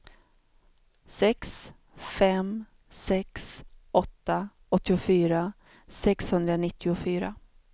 sex fem sex åtta åttiofyra sexhundranittiofyra